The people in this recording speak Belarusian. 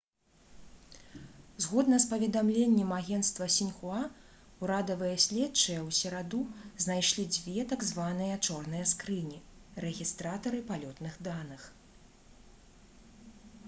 згодна з паведамленнем агенцтва «сіньхуа» урадавыя следчыя ў сераду знайшлі дзве так званыя «чорныя скрыні» — рэгістратары палётных даных